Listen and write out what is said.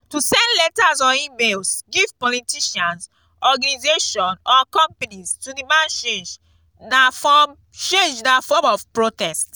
to send letters or emails give politicians organisation or companies to demand change na form change na form of protest